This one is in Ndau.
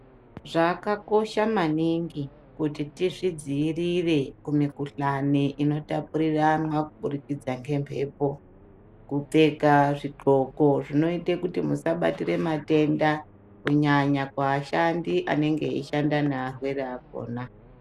Zvakakosha maningi kuti tizvidziirire kumikuhlane inotapuriranwa kuburikidza ngemepo kupfeka zvid'oko zvinoite musabatire matenda kunyanya kuashandi anenge eishanda nearwere akhona.